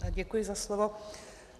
Děkuji za slovo.